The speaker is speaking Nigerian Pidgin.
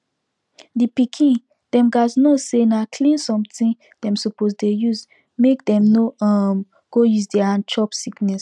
the pikin dem gats know say na clean something dem suppose dey use make dem no um go use their hand chop sickness